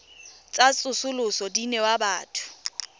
tsa tsosoloso di newa batho